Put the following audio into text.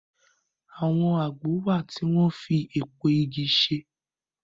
Àwọn àgbò wá tí wón fí èpo ìgi ṣe.